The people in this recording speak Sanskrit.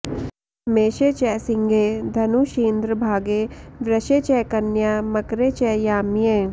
मेषे च सिंहे धनुषीन्द्रभागे वृषे च कन्या मकरे च याम्ये